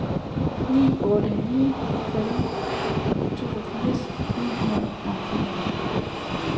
ni otte ni fem toogfirs ni hundrede og femoghalvfems